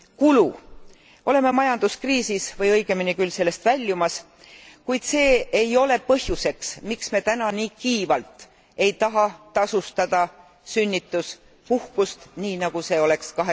Kulu oleme majanduskriisis või õigemini küll sellest väljumas, kuid see ei ole põhjus, miks me täna nii kiivalt ei taha tasustada sünnituspuhkust nii, nagu see oleks